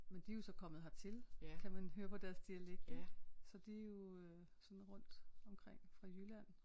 Men de er jo så kommer hertil kan man høre på deres dialekter ik så de jo øh sådan rundt omkring fra Jylland